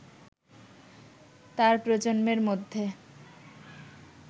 তার প্রজন্মের মধ্যে